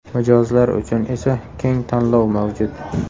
Mijozlar uchun esa keng tanlov mavjud.